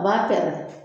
A b'a pɛrɛn